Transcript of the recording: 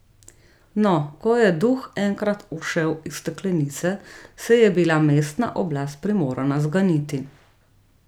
No, ko je enkrat duh ušel iz steklenice, se je bila mestna oblast primorana zganiti.